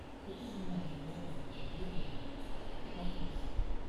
купи бумажные полотенца любые упаковку